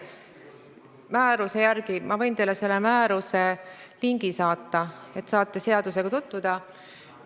Ma võin teile selle määruse lingi saata, et saaksite sellega tutvuda.